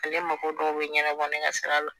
Ale mago dɔw bɛ ɲɛnabɔ ne ka sira la